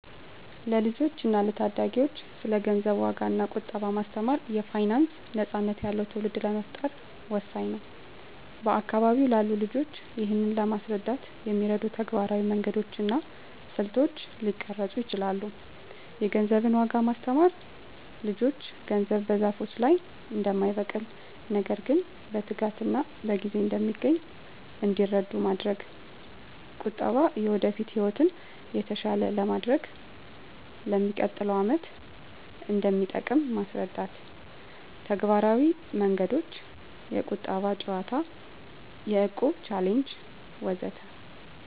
ለልጆች እና ለታዳጊዎች ስለ ገንዘብ ዋጋ እና ቁጠባ ማስተማር የፋይናንስ ነፃነት ያለው ትውልድ ለመፍጠር ወሳኝ ነው። በአካባቢው ላሉ ልጆች ይህንን ለማስረዳት የሚረዱ ተግባራዊ መንገዶች እና ስልቶች ሊቀረጹ ይችላሉ -የገንዘብን ዋጋ ማስተማር ልጆች ገንዘብ በዛፎች ላይ እንደማይበቅል፣ ነገር ግን በትጋትና በጊዜ እንደሚገኝ እንዲረዱ ማድረግ። -ቁጠባ የወደፊት ህይወትን የተሻለ ለማድረግ፣ ለሚቀጥለው ዓመት እንደሚጠቅም ማስረዳት። -ተግባራዊ መንገዶች -የቁጠባ ጨዋታ -የእቁብ ቻሌንጅ ወዘተ